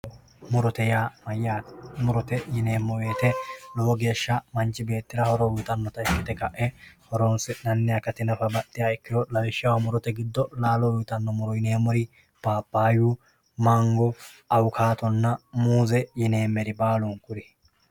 Murote ya mayate murote yinemo woyite lowo gesha manchi betira horo uyitanota ikite kae horonsinani akati akati baxinoha nafa ikiro murote gido lalo uyitano yinemori papayu mango awukatona muze yinemeri balunkuri